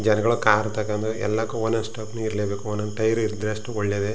ಜನಗಳು ಕಾರ್ ತಕೊಂಡು ಎಲ್ಲಕ್ಕು ಓನ್ ಓನ್ ಇರಲ್ಲೇಬೇಕು ಒಂದ್ ಒಂದ್ ಟೈರ್ ಇದ್ರ ಅಷ್ಟೇನೆ ಒಳ್ಳೇದೆ.